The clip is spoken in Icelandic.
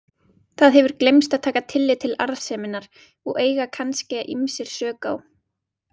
Það hefur gleymst að taka tillit til arðseminnar og eiga kannske ýmsir sök á.